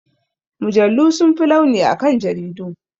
Mujallu sun fi launi akan jaridu.